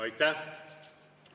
Aitäh!